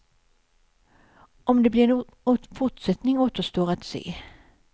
Om det blir en fortsättning återstår att se.